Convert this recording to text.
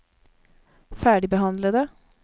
ferdigbehandlede